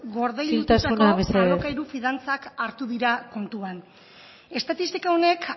gordetako alokairu fiantzak hartu dira kontuan estatistika honek